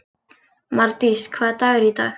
Mardís, hvaða dagur er í dag?